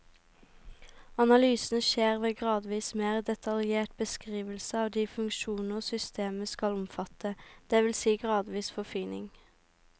Analysen skjer ved gradvis mer detaljert beskrivelse av de funksjoner systemet skal omfatte, det vil si gradvis forfining.